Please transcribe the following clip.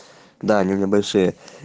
да они у меня большие